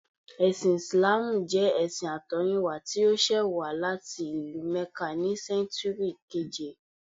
Ẹ̀sìn Ìsìláàmù jẹ́ ẹṣin àtọ̀húnrìnwá tí ó ṣẹ̀ wá láti ìlú Mẹ́kà ní sẹ́ńtúrì keèje